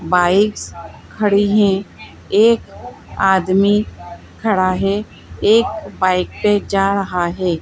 Bikes खड़ी हैं एक आदमी खड़ा हैं एक बाइक पे जा रहा हैं।